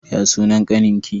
Ya sunan ƙanin ki?